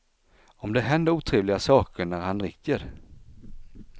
Om det händer otrevliga saker när han dricker.